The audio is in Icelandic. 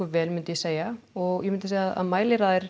vel myndi ég segja og ég myndi segja að